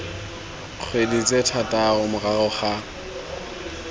dikgwedi tse thataro morago ga